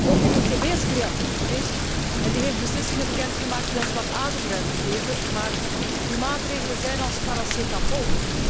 Ook de ECB is creatief geweest. Die heeft beslissingen bekendgemaakt die ons wat ademruimte geven, maar die maatregelen zijn als paracetamol